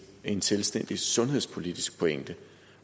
en selvstændig sundhedspolitisk pointe